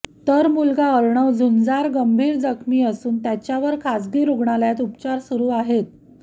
तर मुलगा अर्णव झुंजार गंभीर जखमी असून त्याच्यावर खाजगी रुग्णालयात उपचार सुरु आहेत